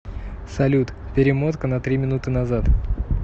салют перемотка на три минуты назад